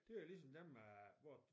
Det jo ligesom dem øh hvor